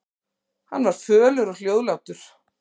Hann var fölur og hljóðlátur.